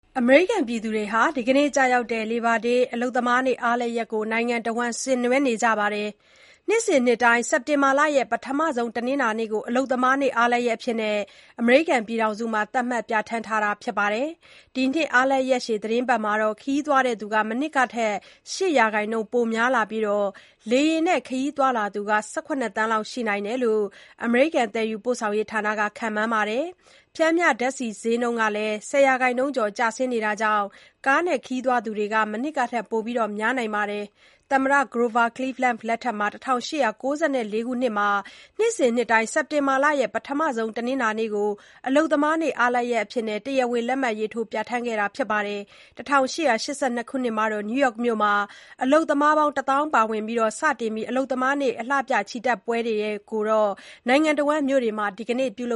အမေရိကန်ပြည်သူတွေဟာ ဒီကနေ့ ကျရောက်တဲ့ (Labor Day) အလုပ်သမားနေ့ အားလပ်ရက်ကို နိုင်ငံတဝန်း ဆင်နွှဲနေကြပါတယ်။ နှစ်စဉ် စက်တင်ဘာရဲ့ ပထမဆုံး တနင်္လာနေ့ကို အလုပ်သမားနေ့ အားလပ်ရက်အဖြစ် အမေရိကန်ပြည်ထောင်စုမှာ သတ်မှတ် ပြဌာန်းထားတာပါ။ ဒီနှစ် အားလပ်ရက်ရှည် သီတင်းပတ်မှာ ခရီးသွားတဲ့သူတွေ မနှစ်ကထက် ၈ ရာခိုင်နှုန်းပိုများလာနိုင်ပြီး လေယာဉ်နဲ့ ခရီးသွားလာသူ ၁၇ သန်းလောက်ရှိနိုင်တယ်လို့ သယ်ယူပို့ဆောင်ရေးဌာနက ခန့်မှန်းပါတယ်။ ပျှမ်းမျှဓါတ်ဆီဈေးနှုန်းက ၁၀ ရာခိုင်နှုန်းကျော်ကျဆင်းနေတာကြောင့် ကားနဲ့ ခရီးသွားတဲ့သူတွေလည်း မနှစ်ကထက် ပိုများနိုင်တာပါ။ သမ္မတ Grover Cleveland လက်ထက် ၁၈၉၄ ခုနှစ်မှာ နှစ်စဉ် စက်တင်ဘာရဲ့ ပထမဆုံးတနင်္လာနေ့ကို အလုပ်သမားနေ့ အားလပ်ရက်အဖြစ် တရားဝင် လက်မှတ်ရေးထိုး ပြဌာန်းခဲ့တာပါ။ ၁၈၈၂ ခုနှစ်က နယူးယောက်မြို့မှာ အလုပ်သမား ၁၀,၀၀၀ ပါဝင်ပြီး စတင်ခဲ့တဲ့ အလုပ်သမားနေ့အလှပြ ချီတက်ပွဲတွေကိုတော့ နိုင်ငံတဝန်း မြို့တွေမှာ ဒီကနေ့ ပြုလု